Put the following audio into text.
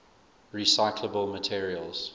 recyclable materials